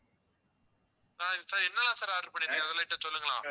ஆஹ் sir என்னென்னலா order பண்ணீங்க அதுல light அ சொல்லுங்களே